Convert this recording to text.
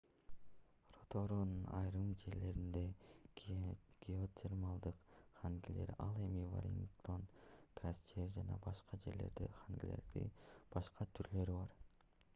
роторуанын айрым жерлеринде геотермалдык хангилер ал эми веллингтон крайстчерч жана башка жерлерде хангилердин башка түрлөрү бар